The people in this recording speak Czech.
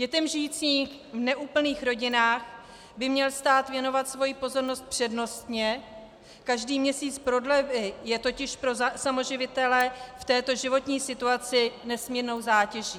Dětem žijícím v neúplných rodinách by měl stát věnovat svoji pozornost přednostně, každý měsíc prodlevy je totiž pro samoživitele v této životní situaci nesmírnou zátěží.